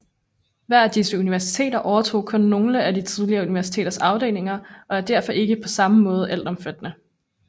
Hver af disse universiteter overtog kun nogle af det tidligere universitets afdelinger og er derfor ikke på samme måde altomfattende